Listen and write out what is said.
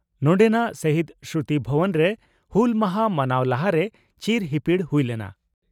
ᱱᱚᱰᱮᱱᱟᱜ ᱥᱟᱦᱤᱫᱽ ᱥᱢᱨᱩᱛᱤ ᱵᱷᱚᱵᱚᱱᱨᱮ ᱦᱩᱞ ᱢᱟᱦᱟᱸ ᱢᱟᱱᱟᱣ ᱞᱟᱦᱟᱨᱮ ᱪᱤᱨ ᱦᱤᱯᱤᱲ ᱦᱩᱭ ᱞᱮᱱᱟ ᱾